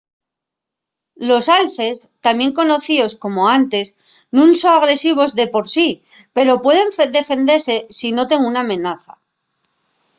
los alces tamién conocíos como antes nun son agresivos de por sí pero pueden defendese si noten una amenaza